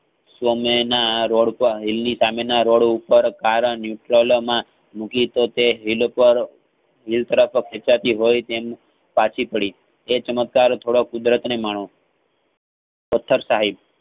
સામેના રોડપર હિલ નીસામેનાં રોડ ઉપર car nutral મૂકી તો તે હિલ પાર હિલ તરફ ખેંચાતી હોય તેમ સાચી પડી તેચમત્કાર થોડો કુદરતનેમાણો પથ્થાર સાહેબ